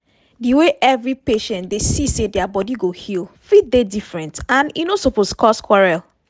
di way every patient dey see say dia body go heal fit dey different and e no suppose cause quarrel.